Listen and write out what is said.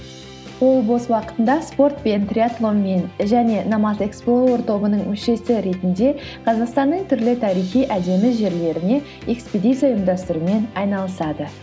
ол бос уақытында спортпен триатлонмен және номад експлоуер тобының мүшесі ретінде қазақстанның түрлі тарихи әдеми жерлеріне экспедиция ұйымдастырумен айналысады